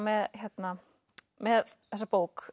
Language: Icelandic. með með þessa bók